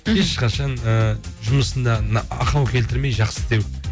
ешқашан ыыы жұмысында ахау келтірмей жақсы істеу